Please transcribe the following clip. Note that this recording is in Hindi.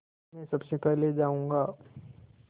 मैं सबसे पहले जाऊँगा